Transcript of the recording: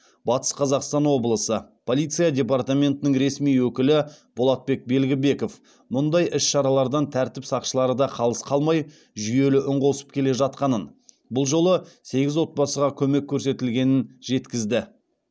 атыс қазақстан облысы полиция департаментінің ресми өкілі болатбек белгібеков мұндай іс шаралардан тәртіп сақшылары да қалыс қалмай жүйелі үн қосып келе жатқанын бұл жолы сегіз отбасыға көмек көрсетілгенін жеткізді